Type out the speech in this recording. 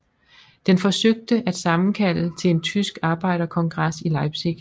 Den forsøgte at sammenkalde til en tysk arbejderkongres i Leipzig